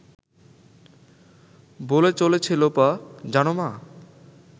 বলে চলেছে লোপা… জানো মা